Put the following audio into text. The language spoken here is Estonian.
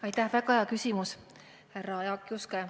Aitäh, väga hea küsimus, härra Jaak Juske!